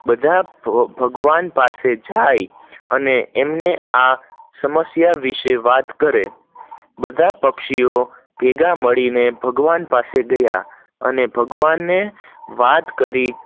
બધા ભગવાન પાસે જાય છે અને એમને આ સમસયા વિષે વતા કરી બધા પક્ષીઓ ભેગા મળી ને ભગવાન પાસે ગયા અને ભગવાન ને વતા કરી